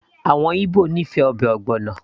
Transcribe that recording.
àwọn Igbo nífẹ̀ẹ́ ọbẹ̀ ogbono